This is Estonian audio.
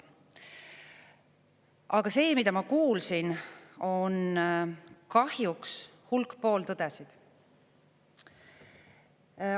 Aga see, mida ma kuulsin, on kahjuks hulk pooltõdesid.